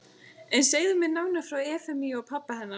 En segðu mér nánar frá Efemíu og pabba hennar.